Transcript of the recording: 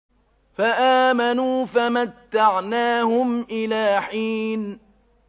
فَآمَنُوا فَمَتَّعْنَاهُمْ إِلَىٰ حِينٍ